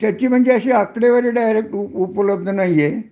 त्याची म्हणजे अशी आकडेवारी डायरेक उपलब्ध नाही हे